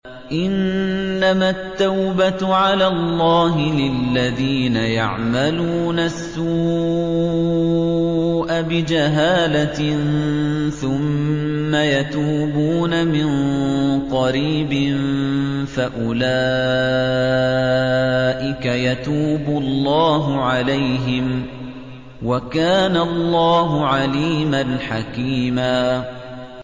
إِنَّمَا التَّوْبَةُ عَلَى اللَّهِ لِلَّذِينَ يَعْمَلُونَ السُّوءَ بِجَهَالَةٍ ثُمَّ يَتُوبُونَ مِن قَرِيبٍ فَأُولَٰئِكَ يَتُوبُ اللَّهُ عَلَيْهِمْ ۗ وَكَانَ اللَّهُ عَلِيمًا حَكِيمًا